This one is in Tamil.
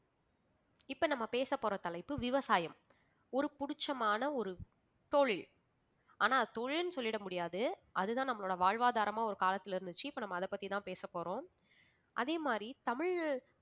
இப்ப நம்ம பேச போற தலைப்பு விவசாயம். ஒரு புடிச்சமான ஒரு தொழில் ஆனா தொழில்னு சொல்லிட முடியாது அதுதான் நம்மளோட வாழ்வாதாரமா ஒரு காலத்தில இருந்துச்சு இப்ப நாம அத பத்திதான் பேச போறோம். அதே மாதிரி தமிழ்